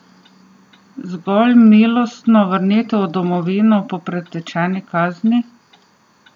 Zgolj milostno vrnitev v domovino po pretečeni kazni?